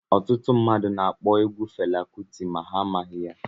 Ọtụtụ mmadụ na akpọ egwu Fela Kuti ma ha amaghị ya.